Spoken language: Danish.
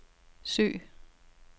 søg